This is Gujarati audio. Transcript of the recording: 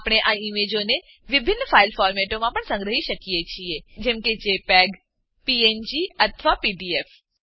આપણે આ ઈમેજોને વિભિન્ન ફાઈલ ફોર્મેટોમાં પણ સંગ્રહી શકીએ છીએ જેમ કે જેપીજી પીએનજી અથવા પીડીએફ